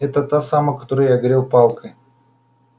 это та самая которую я огрел палкой